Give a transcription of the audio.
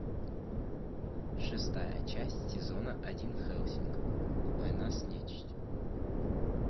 шестая часть сезона один хеллсинг война с нечистью